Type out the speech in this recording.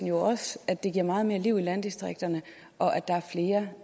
jo også at det giver meget mere liv i landdistrikterne og at der er flere